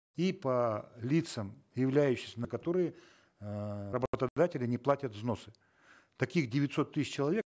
и по лицам являющимся на которые э не платят взносы таких девятьсот тысяч человек